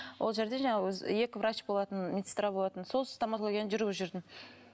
ол жерде жаңағы өзі екі врач болатын медсестра болатын сол стоматологияны жүргізіп жүрдім